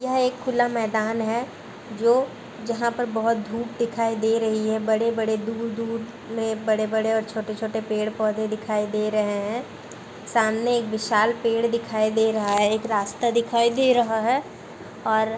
यह एक खुला मैदान है जो जहाँ पर बहुत धूप दिखायी दे रही है। बड़े-बड़े दूर-दूर में बड़े-बड़े और छोटे-छोटे पेड़-पौधे दिखाई दे रहे हैं। सामने एक विशाल पेड़ दिखाई दे रहा है। एक रास्ता दिखाई दे रहा है और --